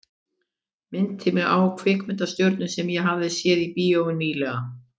Minnti mig á kvikmyndastjörnu sem ég hafði séð í bíó ný- lega.